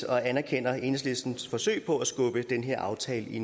og anerkender enhedslistens forsøg på at skubbe den her aftale i